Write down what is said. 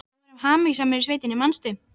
Við vorum hamingjusamar í sveitinni, manstu.